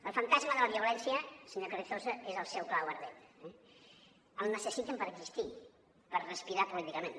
el fantasma de la violència senyor carrizosa és el seu clau ardent eh el necessiten per existir per respirar políticament